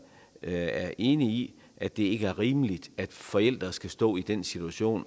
er enig i at det ikke er rimeligt at forældre skal stå i den situation